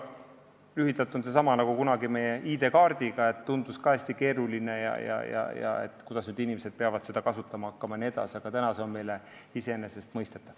Lühidalt öeldes samamoodi, nagu kunagi oli ID-kaardiga, et tundus ka hästi keeruline, et kuidas inimesed peavad seda kasutama hakkama jne, aga täna on see meile iseenesestmõistetav.